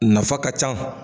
Nafa ka can